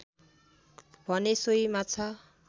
भने सोही माछा